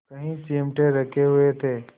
कई चिमटे रखे हुए थे